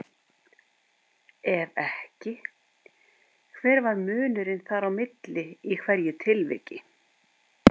Ef ekki, hver var munurinn þar á milli í hverju tilviki?